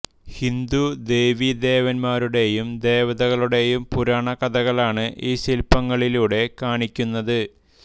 ഹിന്ദു ദേവീ ദേവന്മാരുടെയും ദേവതകളുടെയും പുരാണ കഥകളാണ് ഈ ശിൽപ്പങ്ങളിലൂടെ കാണിക്കുന്നത്